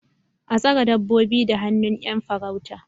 A tsare dabbobi da hannun 'yan farauta